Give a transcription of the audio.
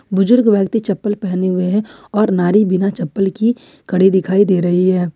बुजुर्ग व्यक्ति चप्पल पहने हुए हैं और नई बिना चप्पल की कड़ी दिखाई दे रही है।